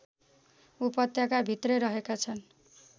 उपत्यका भित्रै रहेका छन्